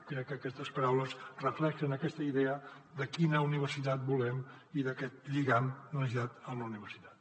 crec que aquestes paraules reflecteixen aquesta idea de quina universitat volem i d’aquest lligam necessari amb la universitat